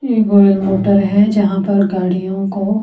ये गोल मोटर है जहां पर गाड़ियों को--